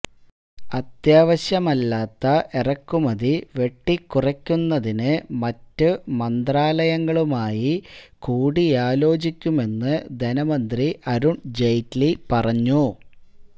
അത്യാവശ്യമല്ലാത്തെ ഇറക്കുമതി വെട്ടിക്കുറക്കുന്നതിന് മറ്റു മന്ത്രാലയങ്ങളുമായി കൂടിയാലോചിക്കുമെന്ന് ധനമന്ത്രി അരുണ് ജെയ്റ്റ്ലി പറഞ്ഞു